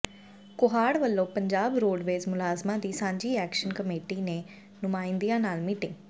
ਕੋਹਾੜ ਵੱਲੋਂ ਪੰਜਾਬ ਰੋਡਵੇਜ ਮੁਲਾਜ਼ਮਾਂ ਦੀ ਸਾਂਝੀ ਐਕਸ਼ਨ ਕਮੇਟੀ ਦੇ ਨੁਮਾਇੰਦਿਆਂ ਨਾਲ ਮੀਟਿੰਗ